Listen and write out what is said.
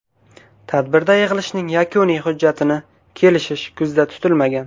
Tadbirda yig‘ilishning yakuniy hujjatini kelishish ko‘zda tutilmagan.